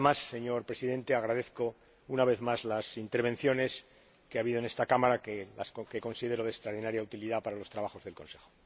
Señor Presidente, agradezco una vez más las intervenciones que ha habido en esta Cámara que considero de extraordinaria utilidad para los trabajos del Consejo.